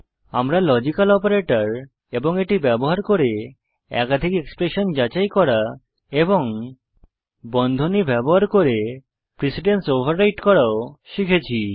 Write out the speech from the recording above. আমরা logical operator এবং এটি ব্যবহার করে একাধিক এক্সপ্রেশন যাচাই করা এবং বন্ধনী ব্যবহার করে প্রিসিডেন্স ওভাররাইট করাও শিখেছি